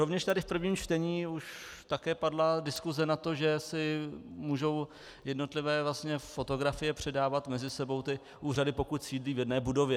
Rovněž tady v prvním čtení už také padla diskuse na to, že si můžou jednotlivé fotografie předávat mezi sebou ty úřady, pokud sídlí v jedné budově.